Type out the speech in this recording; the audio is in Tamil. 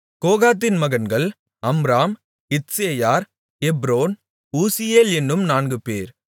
கோகாத்தின் மகன்கள் அம்ராம் இத்சேயார் எப்ரோன் ஊசியேல் என்னும் நான்குபேர்